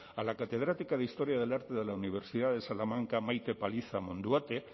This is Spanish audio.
a la catedrática de historia del arte de la universidad de salamanca maite paliza monduate